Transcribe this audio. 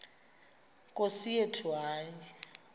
nkosi yethu hayi